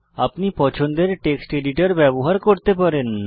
আপনি পছন্দের text editor ব্যবহার করতে পারেন